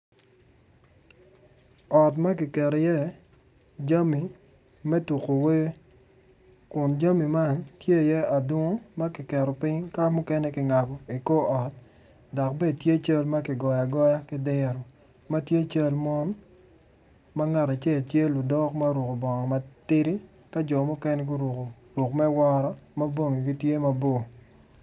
Ot ma kiketo iye jami me tuko wer kun jami man tye iye adungu ma mukene kiketo piny mukene kingabo i kor ot dok bene tye cal ma kigoyo agoya ki diro ma tye cal man ma ngat acel tye ludok ma oruko bongo matidi